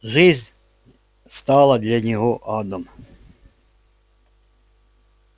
жизнь стала для него адом